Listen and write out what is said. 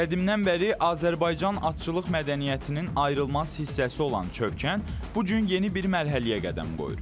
Qədimdən bəri Azərbaycan atçılıq mədəniyyətinin ayrılmaz hissəsi olan Çövkən bu gün yeni bir mərhələyə qədəm qoyur.